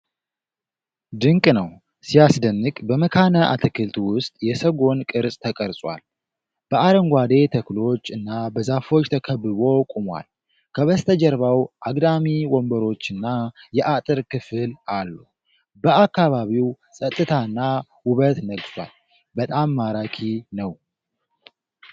ድንቅ ነው! ሲያስደንቅ! በመካነ-አትክልት ውስጥ የሰጎን ቅርፅ ተቀርጿል። በአረንጓዴ ተክሎች እና በዛፎች ተከብቦ ቆሟል። ከበስተጀርባው አግዳሚ ወንበሮችና የአጥር ክፍል አሉ። በአካባቢው ፀጥታና ውበት ነግሷል። በጣም ማራኪ ነው።!!